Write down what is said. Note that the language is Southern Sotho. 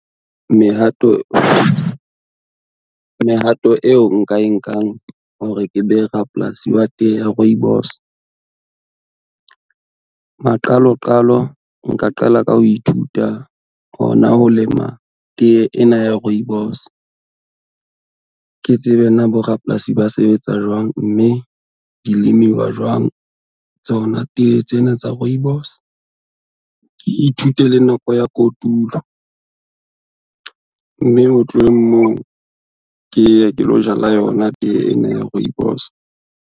Mehato eo nka e nkang hore ke be rapolasi wa tee ya rooibos. Maqaloqalo nka qala ka ho ithuta hona ho lema tee ena ya rooibos. Ke tsebe na borapolasi ba sebetsa jwang, mme di lemiwa jwang tsona tee tsena tsa rooibos, ke ithute le nako ya kotulo mme ho tlweng moo ke ye ke lo jala yona tee ena ya rooibos.